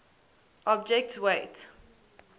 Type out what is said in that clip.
object s weight